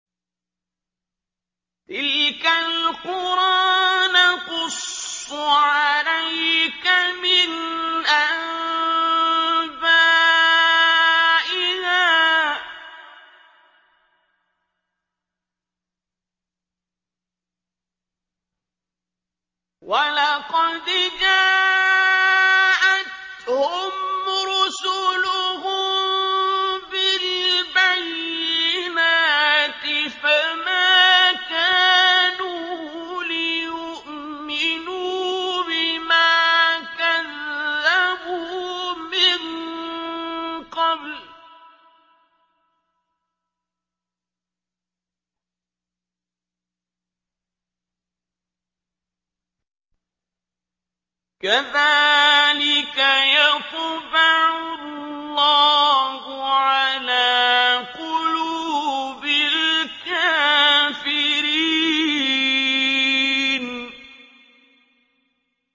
تِلْكَ الْقُرَىٰ نَقُصُّ عَلَيْكَ مِنْ أَنبَائِهَا ۚ وَلَقَدْ جَاءَتْهُمْ رُسُلُهُم بِالْبَيِّنَاتِ فَمَا كَانُوا لِيُؤْمِنُوا بِمَا كَذَّبُوا مِن قَبْلُ ۚ كَذَٰلِكَ يَطْبَعُ اللَّهُ عَلَىٰ قُلُوبِ الْكَافِرِينَ